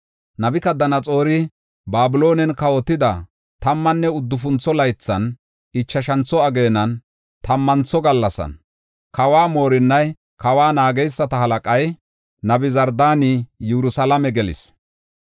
Nabukadanaxoori Babiloonen kawotida tammanne uddufuntho laythan, ichashantho ageenan, tammantho gallasan, kawa moorinnay, kawa naageysata halaqay Nabuzardaani Yerusalaame gelis.